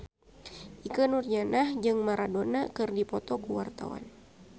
Ikke Nurjanah jeung Maradona keur dipoto ku wartawan